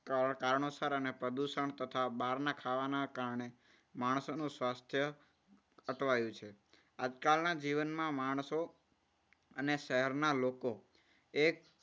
કારણસર અને પ્રદૂષણ તથા બહારના ખાવાના કારણે માણસોનું સ્વાસ્થ્ય અટવાયુ છે. આજકાલના જીવનમાં માણસો શહેરના લોકો એક